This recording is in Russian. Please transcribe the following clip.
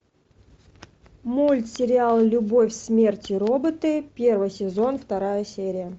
мультсериал любовь смерть и роботы первый сезон вторая серия